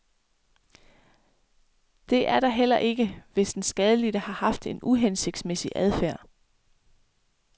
Det er der heller ikke, hvis den skadelidte har haft en uhensigtsmæssig adfærd.